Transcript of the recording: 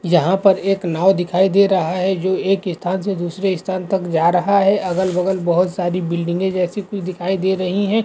यहाँ पर एक नाव दिखाई दे रहा है जो एक स्थान से दूसरे स्थान तक जा रहा है अगल-बगल बहुत सारी बिल्डिंगे जैसी कुछ दिखाई दे रही हैं।